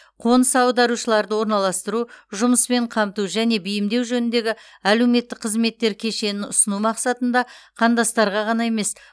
қоныс аударушыларды орналастыру жұмыспен қамту және бейімдеу жөніндегі әлеуметтік қызметтер кешенін ұсыну мақсатында қандастарға ғана емес